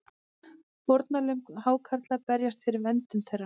Fórnarlömb hákarla berjast fyrir verndun þeirra